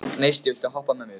Gneisti, viltu hoppa með mér?